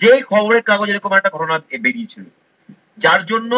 যেই খবরের কাগজে এরকম একটা ঘটনা আজকে বেড়িয়েছিল, যার জন্য